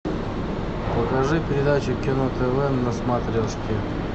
покажи передачу кино тв на смотрешке